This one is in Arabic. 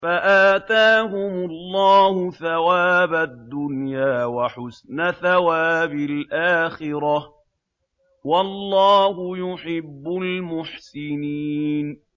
فَآتَاهُمُ اللَّهُ ثَوَابَ الدُّنْيَا وَحُسْنَ ثَوَابِ الْآخِرَةِ ۗ وَاللَّهُ يُحِبُّ الْمُحْسِنِينَ